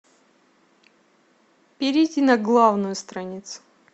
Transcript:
перейти на главную страницу